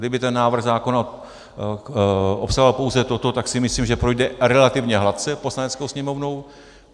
Kdyby ten návrh zákona obsahoval pouze toto, tak si myslím, že projde relativně hladce Poslaneckou sněmovnou.